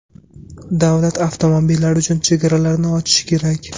Davlat avtomobillar uchun chegaralarini ochishi kerak.